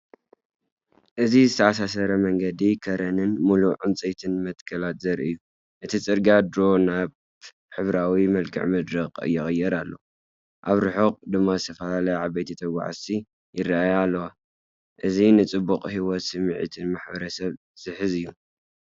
እዚ ዝተኣሳሰረ መንገዲ ከረንን ምሉእ ዕንጨይትን መትከላትን ዘርኢ እዩ። እቲ ጽርግያ ድሮ ናብ ሕብራዊ መልክዓ ምድሪ ይቕየር ኣሎ፡ ኣብ ርሑቕ ድማ ዝተፈላለዩ ዓበይቲ ተጓዓዝቲ ይረኣዩ ኣለዉ። እዚ ንጽባቐ ህይወትን ስምዒት ማሕበረሰብን ዝሕዝ እዩ።